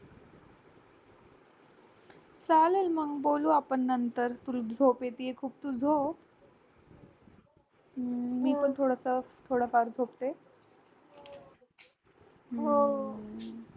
चालेल मग बोलू आपण नंतर तुला झोप येते खूप तू झोप मी पण थोडं फार झोपते